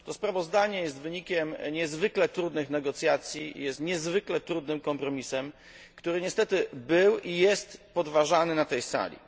Przedstawione sprawozdanie jest wynikiem niezwykle trudnych negocjacji i niezwykle trudnym kompromisem, który niestety był i jest podważany na tej sali.